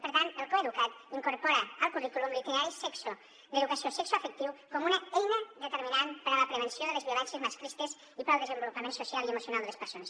per tant el coeduca’t incorpora al currículum l’itinerari d’educació sexoafectiva com una eina determinant per a la prevenció de les violències masclistes i per al desenvolupament social i emocional de les persones